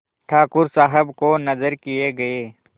ठाकुर साहब को नजर किये गये